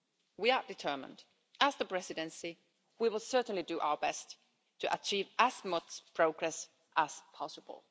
We are determined. As the Presidency we will certainly do our best to achieve as much progress as possible.